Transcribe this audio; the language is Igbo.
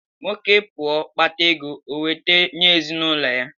Nwoke pụọ kpátá égo, o weta nye ezinụlọ ya